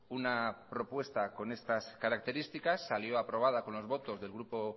una propuesta con estas características salió aprobado con los votos del grupo